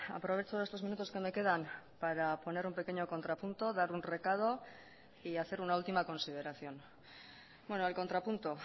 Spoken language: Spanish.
aprovecho estos minutos que me quedan para poner un pequeño contrapunto dar un recado y hacer una última consideración el contrapunto